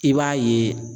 I b'a ye